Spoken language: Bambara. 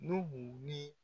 Nuhu ni